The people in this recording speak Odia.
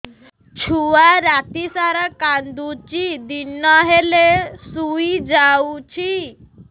ଛୁଆ ରାତି ସାରା କାନ୍ଦୁଚି ଦିନ ହେଲେ ଶୁଇଯାଉଛି